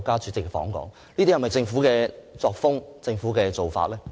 這是否政府的作風和做法呢？